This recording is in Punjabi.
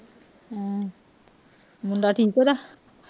ਹਮ ਮੁੰਡਾ ਠੀਕ ਓਹਦਾ